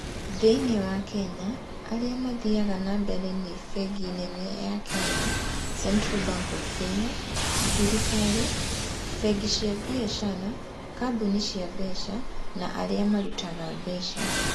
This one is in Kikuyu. Thĩinĩ wa Kenya arĩa mathiaga na mbere nĩ bengi nene ya Kenya (Central Bank of Kenya), thirikari, bengi cia biacara, kambuni cia mbeca, na arĩa marutaga mbeca.